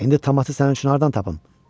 İndi tamatı sənin üçün hardan tapım?